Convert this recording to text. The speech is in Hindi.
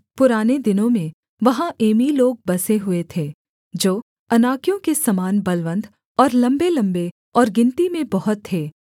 पुराने दिनों में वहाँ एमी लोग बसे हुए थे जो अनाकियों के समान बलवन्त और लम्बेलम्बे और गिनती में बहुत थे